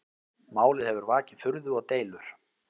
Málið hefur vakið furðu og deilur